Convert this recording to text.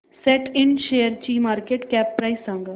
सॅट इंड शेअरची market cap price सांगा